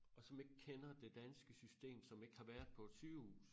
Og som ikke kender det danske system som ikke har været på et sygehus